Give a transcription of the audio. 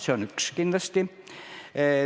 Seda esiteks.